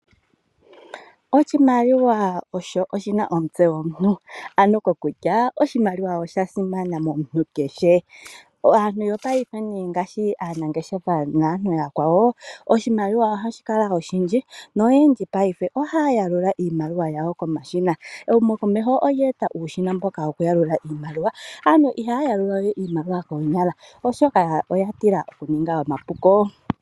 Oshimaliwa osho oshi na omutse gomuntu, ano kokutya oshimaliwa osha simana momuntu kehe. Aantu yopaife nee ngaashi aanangeshefa naantu aakwawo, oshimaliwa ohashi kala oshindji noyendji paife ohaya yalula iimaliwa yawo komashina. Ehumo komeho olya eta uushina mboka woku yalula iimaliwa, aantu ihaya yalula we iimaliwa koonyala oshoka oya tila oku ninga omapuko.